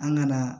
An ka na